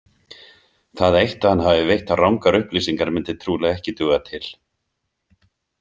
Það eitt að hann hafi veitt rangar upplýsingar myndi trúlega ekki duga til.